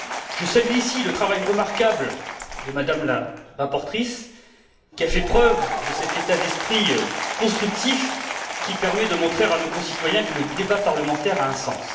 Je salue ici le travail remarquable de Mme la rapporteure, qui a fait preuve de cet état d'esprit constructif, qui permet de montrer à nos concitoyens que le débat parlementaire a un sens.